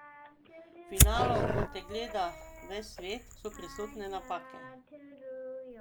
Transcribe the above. V finalu, ko te gleda ves svet so prisotne napake.